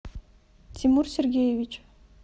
тимур сергеевич